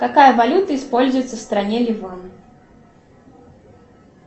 какая валюта используется в стране ливан